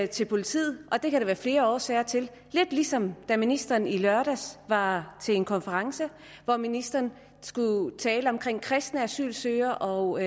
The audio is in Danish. til politiet og det kan der være flere årsager til det lidt ligesom da ministeren i lørdags var til en konference hvor ministeren skulle tale om kristne asylansøgere og